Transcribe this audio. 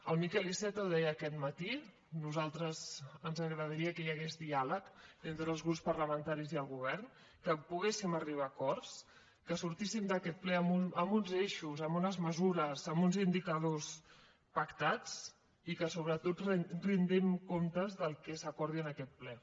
el miquel iceta deia aquest matí a nosaltres ens agradaria que hi hagués diàleg entre els grups parlamentaris i el govern que poguéssim arribar a acords que sortíssim d’aquest ple amb uns eixos amb unes mesures amb uns indicadors pactats i que sobretot rendim comptes del que s’acordi en aquest ple